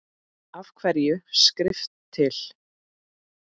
Af hverju er skrift til?